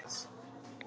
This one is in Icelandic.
Þau halda okkur ungum.